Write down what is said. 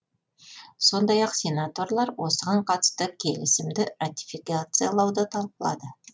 сондай ақ сенаторлар осыған қатысты келісімді ратификациялауды талқылады